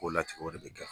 K'o latigɛ o de bɛ kɛ